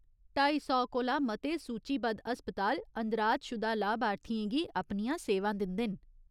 ढाई सौ कोला मते सूचीबद्ध हस्पताल अंदराजशुदा लाभार्थियें गी अपनियां सेवां दिंदे न।